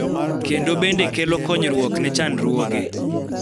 kendo bende kelo konyruok ne chandruoge